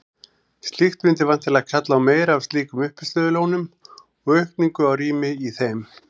Slíkt mundi væntanlega kalla á meira af slíkum uppistöðulónum og aukningu á rými í þeim.